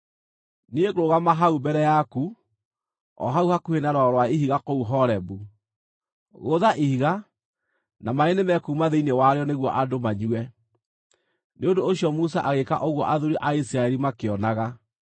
Niĩ ngũrũgama hau mbere yaku, o hau hakuhĩ na rwaro rwa ihiga kũu Horebu. Gũtha ihiga, na maaĩ nĩmekuuma thĩinĩ warĩo nĩguo andũ manyue.” Nĩ ũndũ ũcio Musa agĩĩka ũguo athuuri a Isiraeli makĩonaga.